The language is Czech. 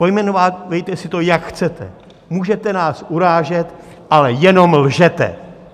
Pojmenovávejte si to, jak chcete, můžete nás urážet, ale jenom lžete!